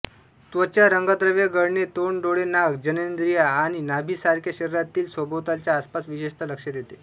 त्वचा रंगद्रव्य गळणे तोंड डोळे नाक जननेंद्रिया आणि नाभीसारख्या शरीरातील सभोवतालच्या आसपास विशेषतः लक्षात येते